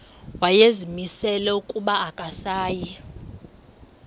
wayezimisele ukuba akasayi